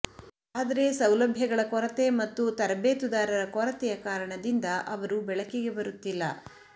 ಆದರೆ ಸೌಲಭ್ಯಗಳ ಕೊರತೆ ಮತ್ತು ತರಬೇತುದಾರರ ಕೊರತೆಯ ಕಾರಣದಿಂದ ಅವರು ಬೆಳಕಿಗೆ ಬರುತ್ತಿಲ್ಲ